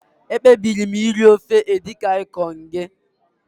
Ekpebiri m iri ofe Edikaikong gị